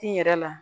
Kin yɛrɛ la